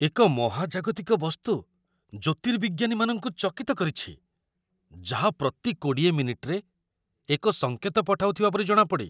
ଏକ ମହାଜାଗତିକ ବସ୍ତୁ ଜ୍ୟୋତିର୍ବିଜ୍ଞାନୀମାନଙ୍କୁ ଚକିତ କରିଛି, ଯାହା ପ୍ରତି ୨୦ ମିନିଟରେ ଏକ ସଙ୍କେତ ପଠାଉଥିବା ପରି ଜଣାପଡ଼େ।